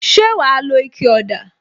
Ṣé wa lo ike ọ̀dà?